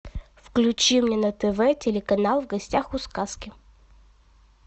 включи мне на тв телеканал в гостях у сказки